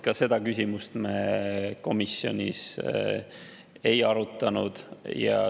Ka seda küsimust me komisjonis ei arutanud.